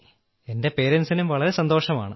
എന്റെ പേരന്റ്സിനും വളരെ സന്തോഷമാണ്